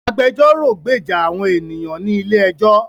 Agbẹjọ́rò gbèjà àwọn ènìyàn ní ilé ẹjọ́